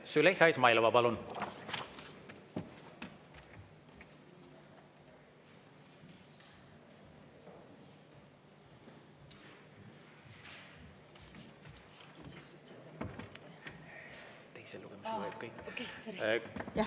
Züleyxa Izmailova, palun!